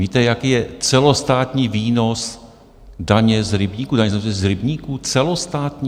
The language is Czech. Víte, jaký je celostátní výnos daně z rybníků, daně z rybníků - celostátní?